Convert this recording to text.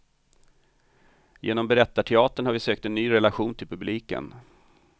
Genom berättarteatern har vi sökt en ny relation till publiken.